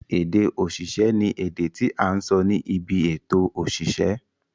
Ède òṣìṣẹ́ ni èdè tí à ń sọ ní ibi èto òṣìṣẹ́.